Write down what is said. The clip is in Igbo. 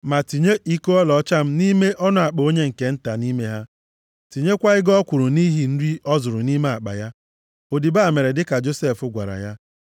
Ma tinye iko ọlaọcha m nʼime ọnụ akpa onye nke nta nʼime ha. Tinyekwa ego ọ kwụrụ nʼihi nri ọ zụrụ nʼime akpa ya.” Odibo a mere dịka Josef gwara ya.